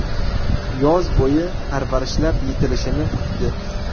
Yoz bo‘yi parvarishlab, yetilishini kutdi.